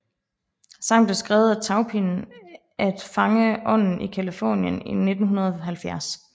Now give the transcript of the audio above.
Sangen blev skrevet af Taupin at fange ånden i Californien i 1970